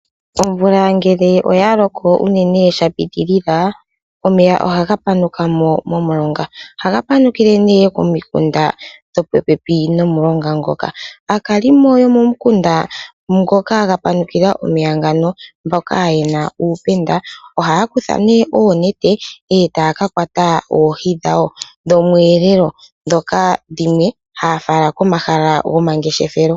Omvula ngele oya loko unene sha pitilila, omeya ohaga panuka mo momulonga. Ohaga panukile nee momikunda ndhoka dhili popepi nomulonga ngoka. Aakalimo yomomukunda moka mwa panukila omeya ngano mboka yena uupenda, ohaa kutha oonete e taa ka kwata oohi dhawo dhokweelela, ndhoka dhimwe haa fala komahala gomangeshefelo.